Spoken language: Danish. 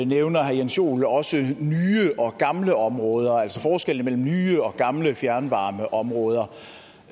nævner herre jens joel jo også nye og gamle områder altså forskellen mellem nye og gamle fjernvarmeområder